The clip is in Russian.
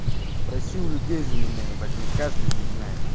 спроси у людей за меня ебать меня здесь каждый знает